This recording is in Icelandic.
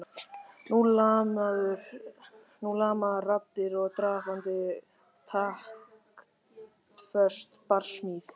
Nú lamaðar raddir og drafandi og taktföst barsmíð.